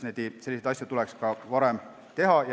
Ka selliseid asju tuleks varem teha.